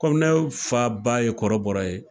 Komi ne fa ba ye kɔrɔbɔrɔ ye